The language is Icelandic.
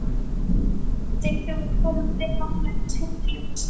Þegar þau voru komin vel áleiðis heim til Jóns beygði